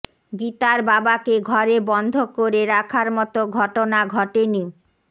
গীতার বাবাকে ঘরে বন্ধ করে রাখার মতো ঘটনা ঘটেনি